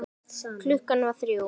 Klukkan var þrjú.